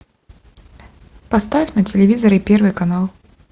поставь на телевизоре первый канал